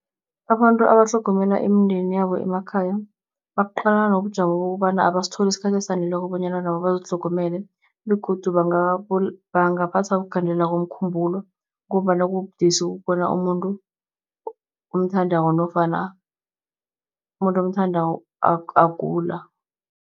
Abantu abatlhogomela imindeni yabo emakhaya, baqalana nobujamo bokobana abasitholi isikhathi esaneleko bonyana nabo bazitlhogomele. Begodu bangaphathwa kugandeleleka komkhumbulo, ngombana kubudisi ukubona umuntu omthandako nofana umuntu omthandako agula.